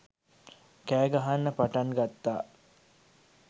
කෑ ගහන්න පටන් ගත්තා.